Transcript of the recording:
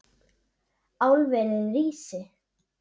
Álverið rísi!